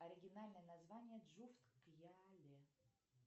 оригинальное название джуфт кьяле